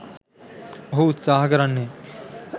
ඔහු උත්සාහ කරන්නේ.